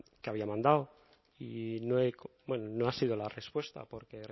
que había mandado y bueno no ha sido la respuesta porque